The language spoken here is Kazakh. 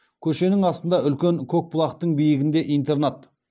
көшенің астында үлкен көкбұлақтың биігінде интернат